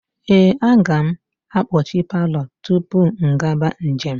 Ee, aga m akpọchi palọ tupu m gaba njem.